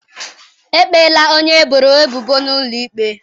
Ekpeela onye eboro ebubo n'ụlọ ikpe?